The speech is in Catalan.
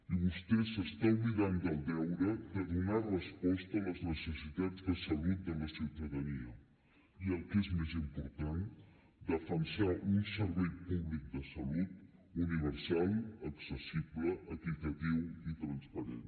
i vostè s’està oblidant del deure de donar resposta a les necessitats de salut de la ciutadania i el que és més important defensar un servei públic de salut universal accessible equitatiu i transparent